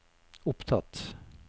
opptatt